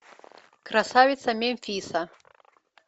красавица мемфиса